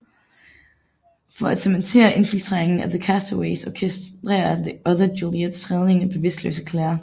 For at cementere infiltreringen af The Castaways orkestrerer The Others Juliets redning af bevidstløse Claire